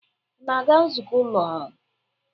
Ị ga-aga nzukọ ụlọ ọrụ?